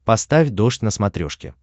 поставь дождь на смотрешке